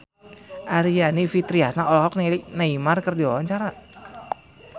Aryani Fitriana olohok ningali Neymar keur diwawancara